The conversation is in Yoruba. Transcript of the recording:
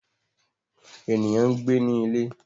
Eniyan n gbe ni ile